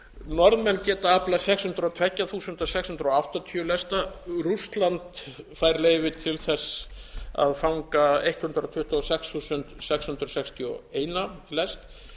norðmenn geta aflað sex hundruð og tvö þúsund sex hundruð áttatíu lesta rússland fær leyfi til þess að fanga hundrað tuttugu og sex þúsund sex hundruð sextíu og eitt lest